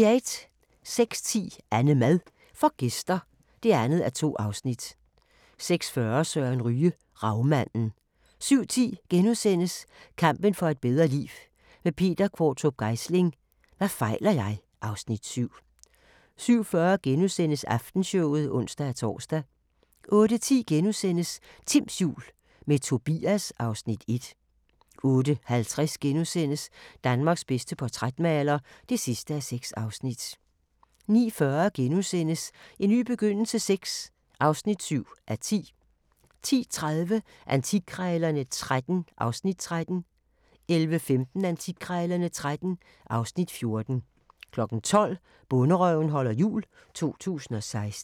06:10: AnneMad får gæster (2:2) 06:40: Søren Ryge: Ravmanden 07:10: Kampen for et bedre liv – med Peter Qvortrup Geisling: Hvad fejler jeg? (Afs. 7)* 07:40: Aftenshowet *(ons-tor) 08:10: Timms jul – med Tobias (Afs. 1)* 08:50: Danmarks bedste portrætmaler (6:6)* 09:40: En ny begyndelse VI (7:10)* 10:30: Antikkrejlerne XIII (Afs. 13) 11:15: Antikkrejlerne XIII (Afs. 14) 12:00: Bonderøven holder jul – 2016